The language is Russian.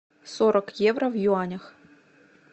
сорок евро в юанях